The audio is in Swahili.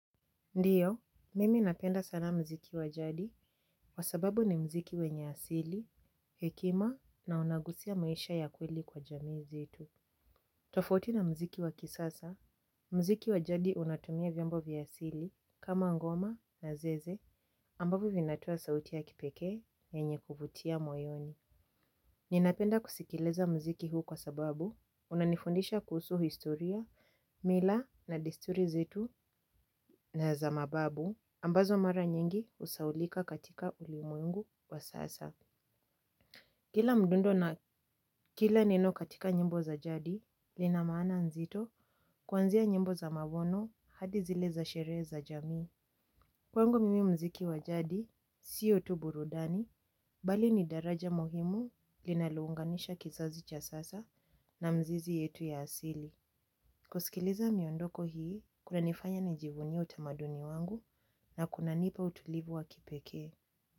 Ndiyo, mimi napenda sana muziki wajadi, kwasababu ni muziki wenye asili, hekima na unagusia maisha ya kweli kwa jamii zetu. Tofauti na muziki wakisasa, muziki wajadi unatumia vyombo vyaasili kama ngoma na zeze, ambavyo vinatoa sauti ya kipekee, yenye kuvutia moyoni. Ninapenda kusikiliza muziki huu kwa sababu unanifundisha kuhusu historia, mila na desturi zetu na zamababu ambazo mara nyingi husahaulika katika ulimwengu wa sasa. Kila mdundo na kila neno katika nyimbo za jadi linamaana nzito kuanzia nyimbo za mabono hadi zile za sherehe za jamii. Kwangu mimi muziki wajadi, siyo tuburudani, bali ni daraja muhimu linalounganisha kizazi cha sasa na mizizi yetu ya asili. Kusikiliza miondoko hii, kuna nifanya nijivunie utamaduni wangu na kuna nipa utulivu wa kipekee.